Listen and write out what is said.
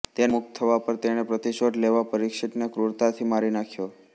તેના મુક્ત થવા પર તેણે પ્રતિશોધ લેવા પરિક્ષિતને ક્રૂરતાથી મારી નાખ્યો